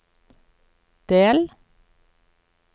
del